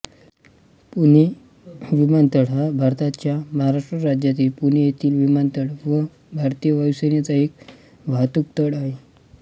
पुणे विमानतळ हा भारताच्या महाराष्ट्र राज्यातील पुणे येथील विमानतळ व भारतीय वायुसेनेचा एक वाहतूकतळ आहे